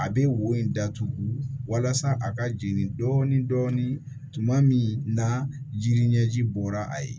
A bɛ wo in datugu walasa a ka jigin dɔɔni dɔɔni tuma min na jiri ɲɛji bɔra a ye